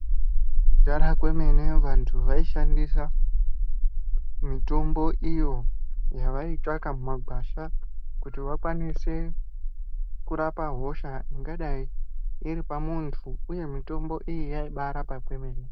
Kudhara kwemene vantu vaishandisa ,mitombo iyo yavaitsvaka mumagwasha kuti vakwanise ,kurapa hosha ingadai iri pamuntu, uye mitombo iyi yaibaarapa kwemene.